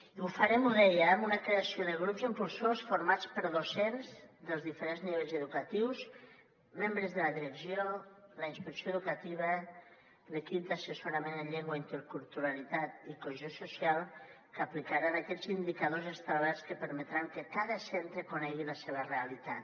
i ho farem ho deia amb una creació de grups impulsors formats per docents dels diferents nivells educatius membres de la direcció la inspecció educativa l’equip d’assessorament en llengua interculturalitat i cohesió social que aplicaran aquests indicadors establerts que permetran que cada centre conegui la seva realitat